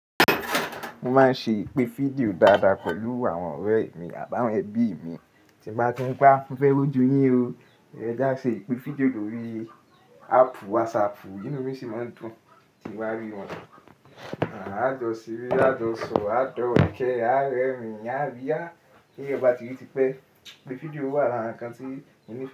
Mo máa ń ṣe ìpè fídíò dáadáa pẹ̀lú àwọn ọ̀rẹ́ mi àbáwọn ẹbí mi. Tí mbá tí ń pé á mofẹ́ rójú yín o, ẹn jí á ṣe ìpè fídíò lórí áàpù wásaàpù inú mi sì máa ń dùn tí mo bá rí wọn. A jọ seré, a jọ sọ̀rọ̀, a dọ̀wẹ́kẹ̀, a rẹ́rìn-ín, a ríyá. T’èèyàn bá ti rí tipẹ́, ìpè fídíò wà lára ǹkan tí mo ní ìfẹ́